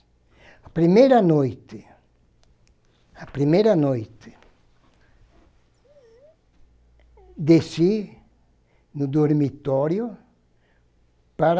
A primeira noite, a primeira noite, desci no dormitório para